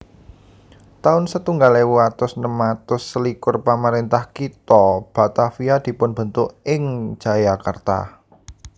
taun setunggal ewu atus enem atus selikur Pamaréntah kitha Batavia dipunbentuk ing Jayakarta